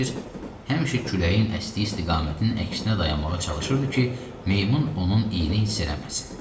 Həmişə küləyin əsdiyi istiqamətin əksinə dayanmağa çalışırdı ki, meymun onun iynini hiss eləməsin.